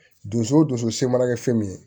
Dusu o dusu se mana kɛ fɛn min ye